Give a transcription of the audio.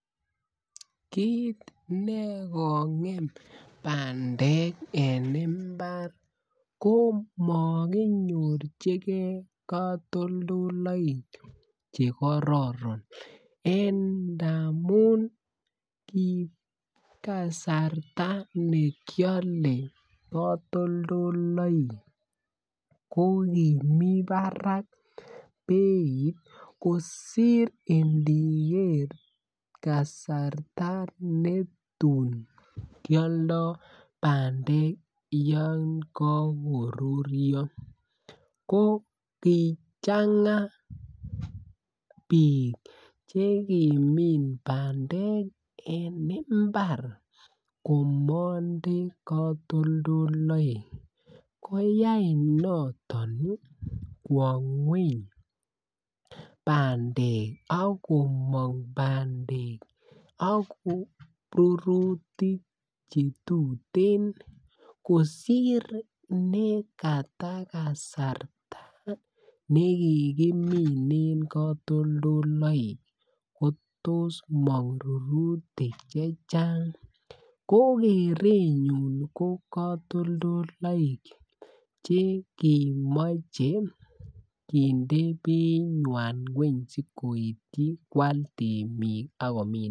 Kit ne kongem bandek en mbar ko makinyorchigei katoldoleywek Che kororon ndamun ki kasarta ne kiale katoldoywek ko kimi barak beit kosir ndiger kasarta ne tun kialdo bandek yon kagoruryo ko kichanga bik Che kimin bandek en mbar komonde katoldoleywek koyai noton kwo ngwony bandek ak komong bandek ak rurutik Che tuten kosir nekata kasarta ne ki kiminen katoldoywek ko tos mong rurutik Che Chang ko kerenyun ko katoldoleywek Che kemoche kinde beinywan ngwony asi koityi koal temik ak komin bandek